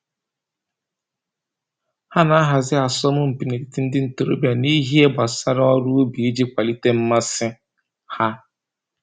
Ha na-ahazi asọmpi n'etiti ndị ntoroọbịa n'ihe gbasara ọrụ ubi iji kwalite mmasị ha